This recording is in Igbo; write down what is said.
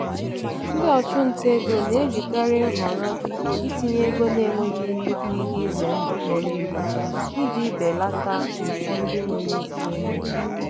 ndị ọchụnta ego na-ejikarị nhọrọ itinye ego na-enweghị nnukwu ihe ize ndụ kpọrọ ihe iji belata mfu ndị nwere ike ime.